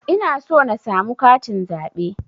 Ina so na samu katin zaɓe